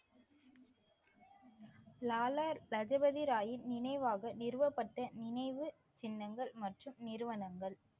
லாலா லஜபதி ராயின் நினைவாக நிறுவப்பட்ட நினைவு சின்னங்கள் மற்றும் நிறுவனங்கள்